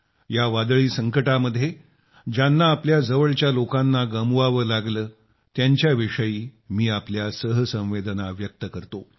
या वादळी संकटामध्ये ज्यांना आपल्या जवळच्या लोकांना गमवावं लागलं त्यांच्याविषयी मी आपल्या सहसंवेदना व्यक्त करतो